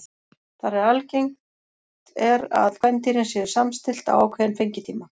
Þar er algengt er að kvendýrin séu samstillt á ákveðinn fengitíma.